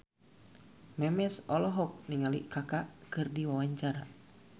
Memes olohok ningali Kaka keur diwawancara